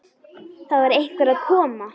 Það var einhver að koma!